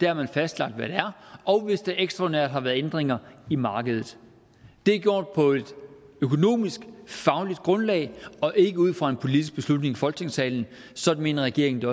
har fastlagt hvad det er og hvis der ekstraordinært har været ændringer i markedet det er gjort på et økonomiske fagligt grundlag og ikke ud fra en politisk beslutning i folketingssalen sådan mener regeringen det